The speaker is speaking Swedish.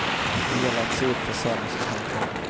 Det gäller att se upp för såna som har en poäng.